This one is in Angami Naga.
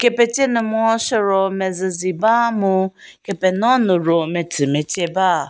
petse nu meho chü ro mezüzi ba mu kepeno nu ro metsü metse ba.